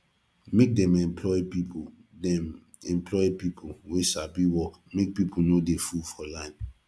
make dem employ pipu dem employ pipu wey sabi work make pipu no dey full for line